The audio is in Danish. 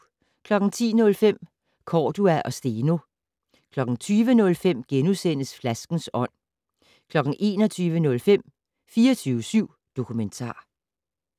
10:05: Cordua og Steno 20:05: Flaskens ånd * 21:05: 24syv Dokumentar